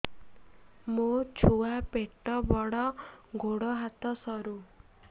ମୋ ଛୁଆ ପେଟ ବଡ଼ ଗୋଡ଼ ହାତ ସରୁ